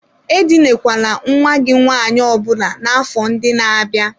E dinakwana nwa gị nwaanyị ọbụna n'afọ ndị na-abịa!